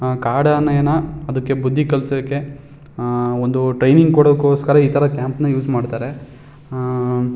ಆ ಕಾದಾನೇನ ಅದಕೆ ಬುದ್ದಿ ಕಲ್ಸಕೆ ಅಅ ಒಂದು ಟ್ರೇನಿಂಗ ಕೊಡೊ ಗೋಸ್ಕರ ಇತರ ಕ್ಯಾಂಪ್ ಉಸ್ ಮಾಡ್ತಾರೆ--